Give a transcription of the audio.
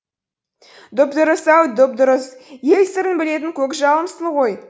дұп дұрыс ау дұп дұрыс ел сырын білетін көкжалымсың ғой